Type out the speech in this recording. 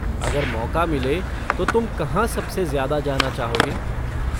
अगर मौक़ा मिले तो तुम कहाँ सबसे ज़्यादा जाना चाहोगे?